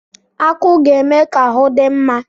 Akụ ga-eme ka ahu dị mma.